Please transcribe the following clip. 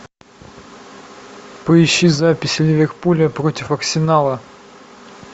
поищи запись ливерпуля против арсенала